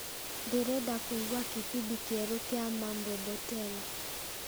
ndĩrenda kũigua kibindi kĩerũ kĩa mambo mbotela